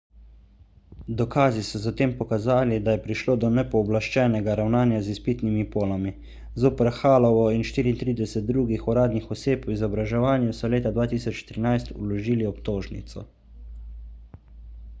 dokazi so zatem pokazali da je prišlo do nepooblaščenega ravnanja z izpitnimi polami zoper hallovo in 34 drugih uradnih oseb v izobraževanju so leta 2013 vložili obtožnico